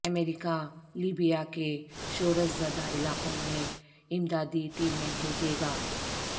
امریکہ Libya کے شورش زدہ علاقوں میں امدادی ٹیمیں بھیجے گا